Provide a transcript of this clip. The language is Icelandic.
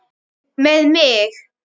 Með mig?